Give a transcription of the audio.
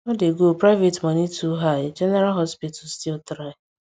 no dey go private money too high general hospital still try